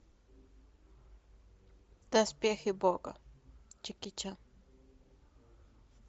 доспехи бога джеки чан